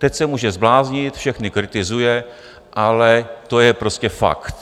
Teď se může zbláznit, všechny kritizuje, ale to je prostě fakt.